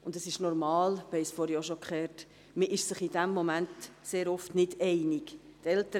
Zudem ist es normal – wir haben es vorhin schon gehört –, dass man sich in diesem Moment sehr oft nicht einig ist.